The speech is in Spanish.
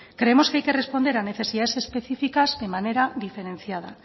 creemos que hay que responder a necesidades específicas de manera diferenciada